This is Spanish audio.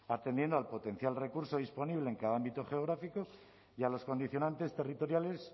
atendiendo al potencial recurso disponible en cada ámbito geográfico y a los condicionantes territoriales